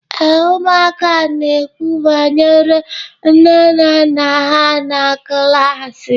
Ee, ụmụaka na-ekwu banyere nne na nna ha na klaasị.